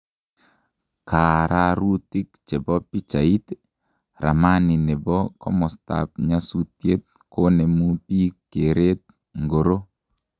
Kaararutik che bo pichait, Ramani ne bo komostab nyasutiet konemu bik keret ngoro?